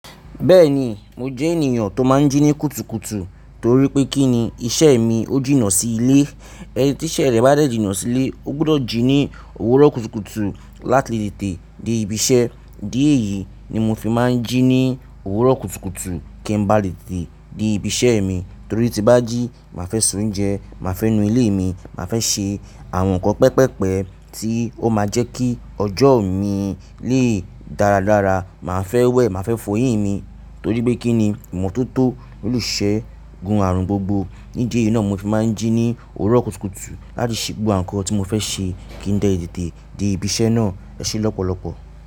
Bẹ́ẹ̀ni mo jẹ́ ènìyàn tó máa ń jí ní kùtùkùtù torí pé kí ni isẹ́ mi ó jìnnà sí ilé, ẹni tí iṣẹ́ rẹ̀ bá dẹ̀ jìnnà sí ilé ó gbọdọ̀ jí ní òwúrọ̀ kùtùkùtù láti tètè dé ibi iṣẹ́. Ídí ẹ̀ yìí ní mó fí máa ń jí ní òwúrọ̀ kùtùkùtù kí n bá léctètè dé ibi iṣẹ́ mi torí tí bá jí máa fẹ́ se oúnjẹ, máa fẹ́ nu ilé mi, máa fẹ́ ṣe àwọn nǹkan pẹpẹ́pẹ tí ó máa jẹ́ kí ọjọ́ mi lé dáradára, màá fẹ́ wẹ̀, màá fẹ́ fọyín mi torí pé kí ni ìmọ́tótó nílùú ìṣe gún ààrùn gbógbó. Ní ídí ẹ̀ yìí náà mó fi máa ń jí ní òwúrọ̀ kùtùkùtù láti ṣe gbógbó àwón ǹkàn tí mó fẹ́ ṣe kí n lè tètè dé ibi iṣẹ́ náà ẹṣẹ lọ́pọ̀lọpọ̀.